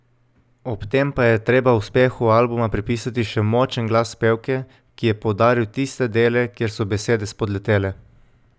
Ob tem pa je treba uspehu albuma pripisati še močen glas pevke, ki je poudaril tiste dele, kjer so besede spodletele.